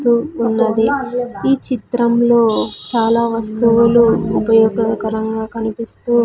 తూ ఉన్నది ఈ చిత్రంలో చాలా వస్తువులు ఉపయోగకరంగా కనిపిస్తూ--